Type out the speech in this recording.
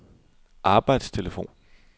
arbejdstelefon